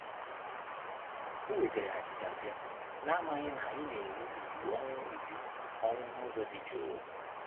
Ha were achicha bia, n'amaghị na anyị na-eru uju ọnwụ uju ọnwụ n'ụzọ dị juu.